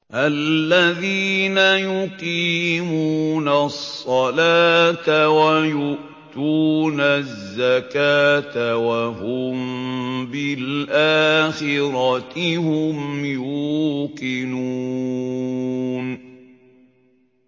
الَّذِينَ يُقِيمُونَ الصَّلَاةَ وَيُؤْتُونَ الزَّكَاةَ وَهُم بِالْآخِرَةِ هُمْ يُوقِنُونَ